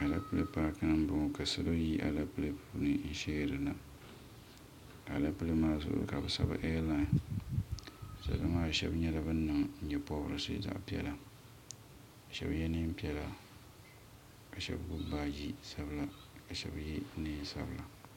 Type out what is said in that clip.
Aleple paaki ni n bɔŋɔ ka salo yi aleple puuni n shiɛri na aleple maa zuɣu ka bi sabi air line salo maa shɛba nyɛla bani niŋ yee pɔbirisi zaɣi piɛlla ka shɛba ye nɛma piɛlla ka shɛba gbubi baaji sabila ka shɛba ye nɛma sabila.